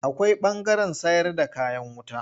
Akwai ɓangaren sayarda kayan wuta.